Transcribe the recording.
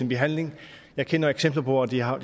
behandling jeg kender eksempler på at det har